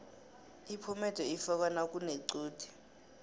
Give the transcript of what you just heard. iphomede ifakwa nakunequde